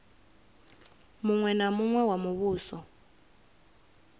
muṅwe na muṅwe wa muvhuso